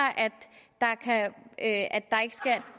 at